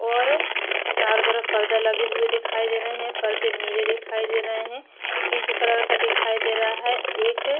और चारो तरफ परदे लगे हुए दिखाई दे रहे है परदे नीले दिखाई दे रहे है पिंक कलर का दिखाई दे रहा है एक--